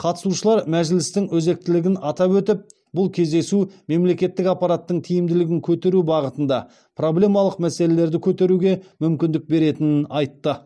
қатысушылар мәжілістің өзектілігін атап өтіп бұл кездесу мемлекеттік аппараттың тиімділігін көтеру бағытында проблемалық мәселерді көтеруге мүмкіндік беретінін айтты